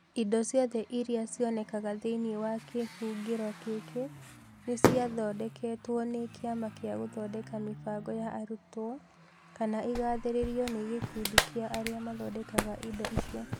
Indo ciothe iria cionekaga thĩinĩ wa kĩhũngĩro gĩkĩ nĩ ciathondeketwo nĩ Kĩama gĩa Gũthondeka Mĩbango ya Arutwo kana igathĩrĩrio nĩ gĩkundi kĩa arĩa mathondekaga indo icio.